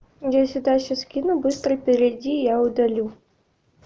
если дальше скину быстро перейди я удалю